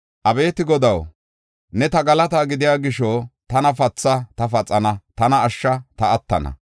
Abeeti Godaw, ne ta galataa gidiya gisho, tana patha; ta paxana; tana ashsha; ta attana.